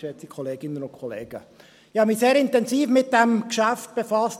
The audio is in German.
Ich habe mich sehr intensiv mit diesem Geschäft befasst.